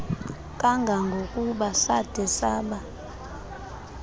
kangangokuba sade saba